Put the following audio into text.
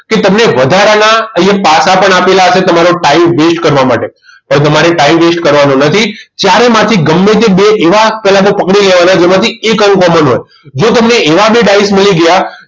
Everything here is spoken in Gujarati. કે તમને વધારાના અહીંયા પાસા પણ આપેલા હશે તમારો time waste કરવા માટે તો તમારે time waste કરવાનો નથી ચ્યારે માંથી ગમે તે બે એવા પહેલા તો પકડી લેવાના જેમાંથી એક અંક common હોય જો તમને એવા બે ડાયસ મળી ગયા